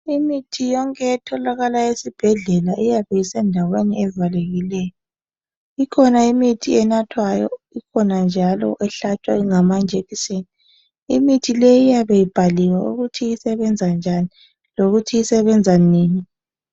Imithi yonke etholakala esibhedlela iyabe isendaweni evalekileyo ikhona imithi enathwayo ikhona njalo ehlatshwa ngamajekiseni imithi le iyabe ibhaliwe ukuthi isebenza njani lokuthi isebenza nini.